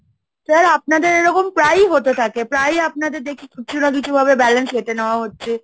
sir আপনাদের এরকম প্রায়ই হতে থাকে, প্রায়ই আপনাদের দেখি কিছু না কিছু ভাবে balance কেটে নেওয়া হচ্ছে।